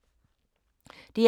DR K